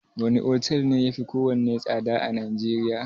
Wane otel ne yafi kowanne tsada a Najeriya?